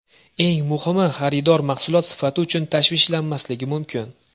Eng muhimi – xaridor mahsulot sifati uchun tashvishlanmasligi mumkin.